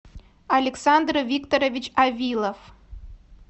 александр викторович авилов